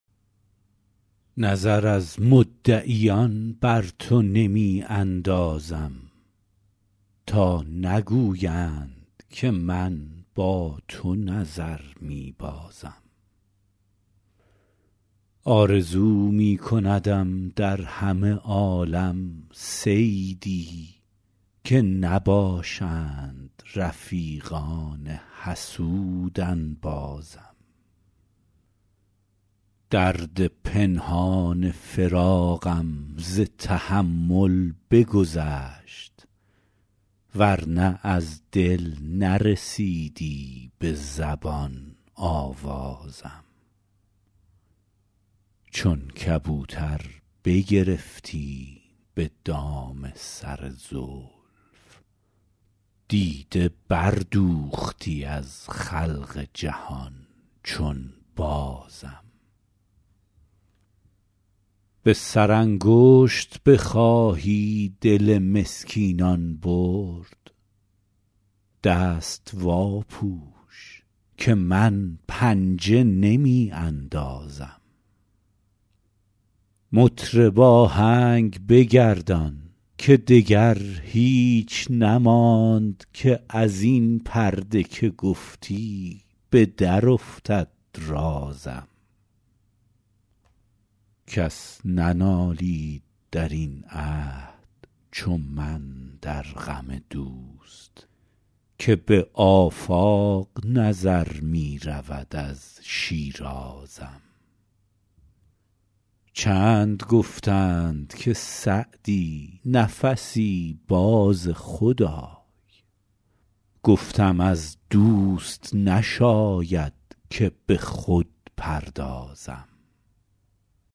نظر از مدعیان بر تو نمی اندازم تا نگویند که من با تو نظر می بازم آرزو می کندم در همه عالم صیدی که نباشند رفیقان حسود انبازم درد پنهان فراقم ز تحمل بگذشت ور نه از دل نرسیدی به زبان آوازم چون کبوتر بگرفتیم به دام سر زلف دیده بردوختی از خلق جهان چون بازم به سرانگشت بخواهی دل مسکینان برد دست واپوش که من پنجه نمی اندازم مطرب آهنگ بگردان که دگر هیچ نماند که از این پرده که گفتی به درافتد رازم کس ننالید در این عهد چو من در غم دوست که به آفاق نظر می رود از شیرازم چند گفتند که سعدی نفسی باز خود آی گفتم از دوست نشاید که به خود پردازم